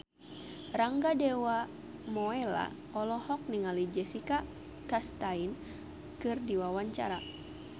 Rangga Dewamoela olohok ningali Jessica Chastain keur diwawancara